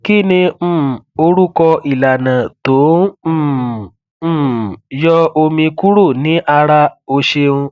kih ni um orúkọ ìlànà tó um n um yọ omi kúrò ní ara o ṣeun